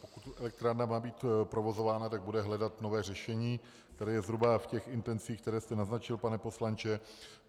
Pokud elektrárna má být provozována, tak bude hledat nové řešení, které je zhruba v těch intencích, které jste naznačil, pane poslanče.